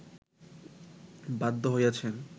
বাধ্য হইয়াছেন